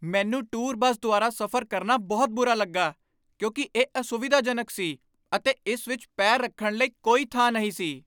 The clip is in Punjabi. ਮੈਨੂੰ ਟੂਰ ਬੱਸ ਦੁਆਰਾ ਸਫ਼ਰ ਕਰਨਾ ਬਹੁਤ ਬੁਰਾ ਲੱਗਾ ਕਿਉਂਕਿ ਇਹ ਅਸੁਵਿਧਾਜਨਕ ਸੀ ਅਤੇ ਇਸ ਵਿਚ ਪੈਰ ਰੱਖਣ ਲਈ ਕੋਈ ਥਾਂ ਨਹੀਂ ਸੀ।